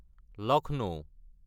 Lucknow